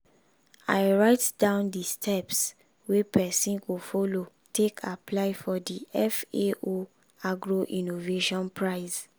i write down di steps wey pesin go follow take apply for di fao agro- innovation prize.